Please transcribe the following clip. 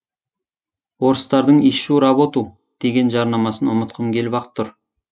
орыстардың ищу работу деген жарнамасын ұмытқым келіп ақ тұр